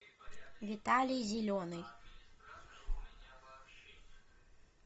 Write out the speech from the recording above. виталий зеленый